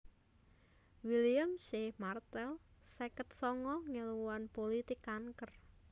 William C Martel seket sanga ngèlmuwan pulitik kanker